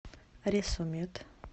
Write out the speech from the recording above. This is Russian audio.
ресо мед